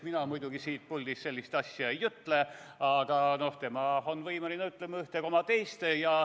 Mina muidugi siit puldist sellist asja ei ütle, aga tema on võimeline ütlema ühte koma teist.